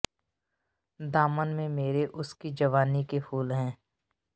ਦਾਮਨ ਮੇਂ ਤੇਰੇ ਉਸ ਕੀ ਜਵਾਨੀ ਕੇ ਫੂਲ ਹੈਂ